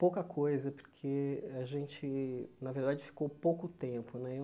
Pouca coisa, porque a gente, na verdade, ficou pouco tempo, né?